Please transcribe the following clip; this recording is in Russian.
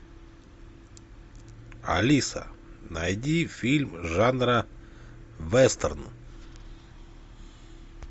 алиса найди фильм жанра вестерн